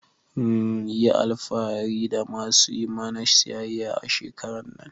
Mhn yi alfahari da ma su yi mana siyayya a shekarar nan.